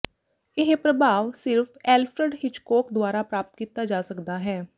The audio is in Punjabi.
ਇਹ ਪ੍ਰਭਾਵ ਸਿਰਫ ਐਲਫਰਡ ਹਿਚਕੌਕ ਦੁਆਰਾ ਪ੍ਰਾਪਤ ਕੀਤਾ ਜਾ ਸਕਦਾ ਹੈ